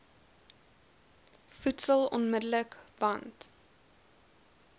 voedsel onmidddelik want